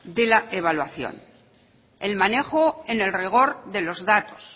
de la evaluación el manejo en el rigor de los datos